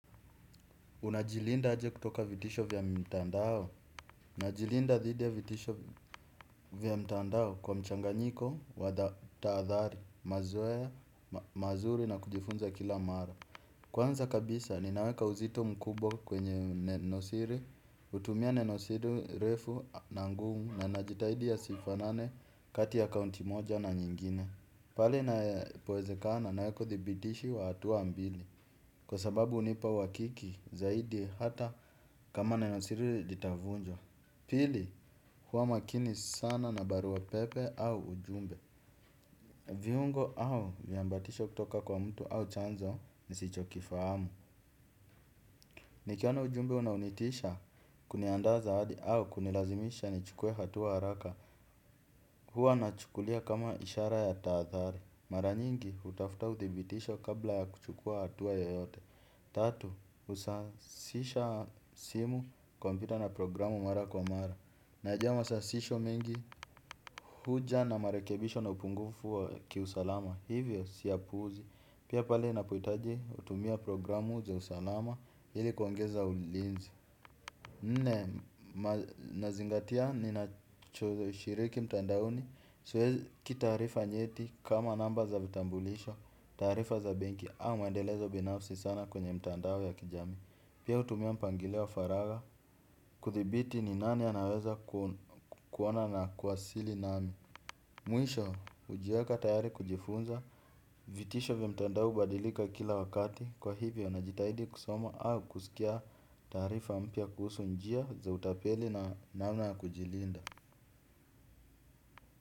Unajilinda aje kutoka vitisho vya mitandao najilinda dhidi ya vitisho vya mtandao kwa mchanganyiko wa tahadhari, mazoea mazuri na kujifunza kila mara. Kwanza kabisa, ninaweka uzito mkubwa kwenye neno siri, hutumia neno siri refu na ngumu na najitahidi yasifanane kati ya akaunti moja na nyingine. Pale ina powezekana na weka uthibitishi wa hatua mbili. Kwa sababu hunipa uhakiki zaidi hata kama neno siri litavunjwa. Pili huwa makini sana na barua pepe au ujumbe. Viungo au viambatisho kutoka kwa mtu au chanzo ni sicho kifahamu. Nikiona ujumbe unaonitisha kuniandaa zaidi au kunilazimisha nichukue hatua haraka. Huwa nachukulia kama ishara ya tahathari. Mara nyingi hutafuta uthibitisho kabla ya kuchukua hatua yoyote. Tatu, husasisha simu kompyuta na programu mara kwa mara. Najua masasisho mengi huja na marekebisho na upungufu wa kiusalama. Hivyo siyapuuzi. Pia pale napohitaji hutumia programu za usalama ili kuongeza ulinzi. Nne, nazingatia ninachoshiriki mtandaoni. Siweki taarifa nyeti kama namba za vitambulisho. Taarifa za benki au maendelezo binafsi sana kwenye mtandao ya kijami. Pia hutumia mpangilio wa faraga. Kuthibiti ni nani anaweza kuona na kuwasili nami. Mwisho hujiweka tayari kujifunza. Vitisho vya mtandao hubadilika kila wakati. Kwa hivyo na jitahidi kusoma au kusikia taarifa mpya kuhusu njia za utapeli na namna ya kujilinda.